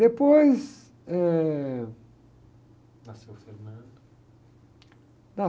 Depois, eh...asceu o.